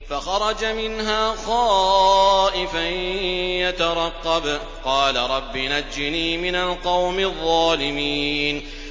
فَخَرَجَ مِنْهَا خَائِفًا يَتَرَقَّبُ ۖ قَالَ رَبِّ نَجِّنِي مِنَ الْقَوْمِ الظَّالِمِينَ